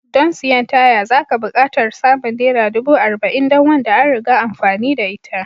Don siyan taya zaka buƙatar samun Naira ɗubu arba'in don wanda an riga amfani da ita